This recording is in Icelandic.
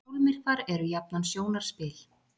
Sólmyrkvar eru jafnan sjónarspil.